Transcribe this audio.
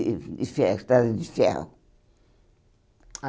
de de ferro Estrada de ferro.